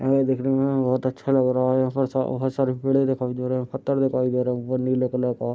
और देखने में बहुत अच्छा लग रहा है यहाँ पे स प स बहुत सारी पेड़े दिखाई दे रहे हैं पत्थर दिखाई दे रहे हैं व नीले कलर का --